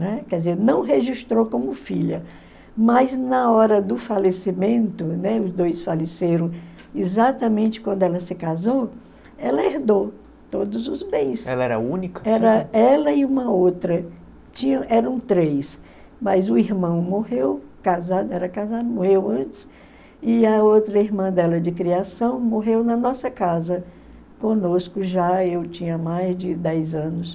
Né? Quer dizer, não registrou como filha, mas na hora do falecimento, né, os dois faleceram exatamente quando ela se casou, ela herdou todos os bens. Ela era única? Era ela e uma outra. Tinha eram três, mas o irmão morreu casado, era casado, morreu antes e a outra irmã dela de criação morreu na nossa casa, conosco já. Eu tinha mais de dez anos